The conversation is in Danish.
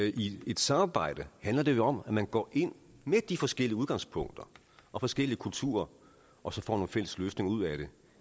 i et samarbejde handler det jo om at man går ind med de forskellige udgangspunkter og forskellige kulturer og får nogle fælles løsninger ud af det